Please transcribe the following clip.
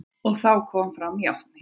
Og þá kom fram játning.